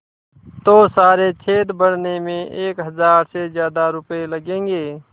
तो सारे छेद भरने में एक हज़ार से ज़्यादा रुपये लगेंगे